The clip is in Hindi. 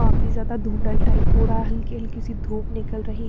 काफी ज्यादा धुंधल टाइप हो रहा है हल्की-हल्की सी धूप निकल रही है।